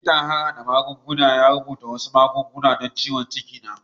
Likitan harhada magunguna ya rubuta wasu magunguna don ciwon ciki na.